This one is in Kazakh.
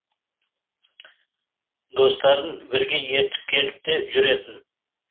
достарын бірге ертіп келіп те жүретін